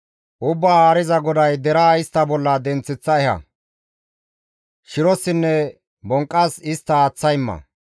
«Ubbaa Haariza GODAY deraa istta bolla denththeththa eha; shirossinne bonqqas istta aaththa imma.